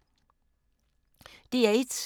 DR1